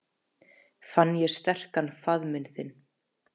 Fann ég sterkan faðminn þinn.